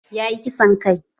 Ya yi kisan kai